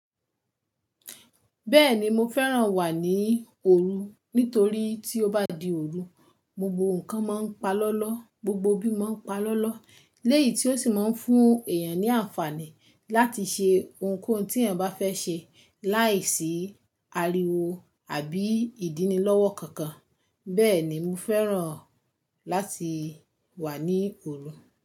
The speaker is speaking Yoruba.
Bẹ́ẹ̀ni mo fẹ́ràn wà ní òru nítorí tí ó bá di òru, gbogbo nǹkan máa ń pa lọ́ lọ́, gbogbo bí máa ń pa lọ́ lọ́. Lẹ́yì tí ó sì máa ń fún èèyàn ní àǹfààní láti ṣe ohunkóhun tí èèyàn bá fẹ́ ṣe láìsí ariwo àbí ìdíní lọ́wọ́ kankan. Bẹ́ẹ̀ ni mo fẹ́ràn láti wà ní òru.